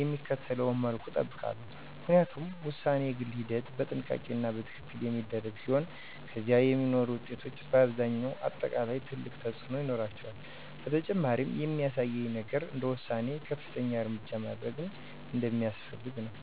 የሚከተለውን መልኩ እጠብቃለሁ፣ ምክንያቱም ውሳኔ በግል ሂደት፣ በጥንቃቄ እና በትክክል የሚደረግ ሲሆን ከዚያ የሚኖሩ ውጤቶች በአብዛኛው አጠቃላይ ትልቅ ተፅእኖ ይኖራቸዋል። በተጨማሪም የሚያሳየኝ ነገር እንደ ውሳኔዬ ከፍተኛ እርምጃ ማድረግ እንደሚያስፈልገኝ ነው።